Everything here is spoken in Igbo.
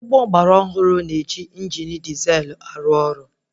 Ụgbọ agbara ọhụrụ na-eji injini dizelụ arụ ọrụ